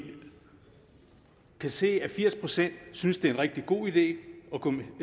kan se at firs procent synes det er en rigtig god idé